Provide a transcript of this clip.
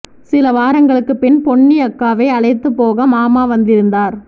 சில வாரங்களுக்கு பின் பொன்னி அக்காவை அழைத்துப் போக மாமா வந்திருந்தார்